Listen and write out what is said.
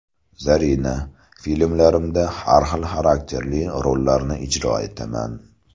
Zarina: Filmlarimda har xil xarakterli rollarni ijro etaman.